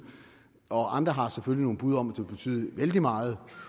og andre har selvfølgelig nogle bud om vil betyde vældig meget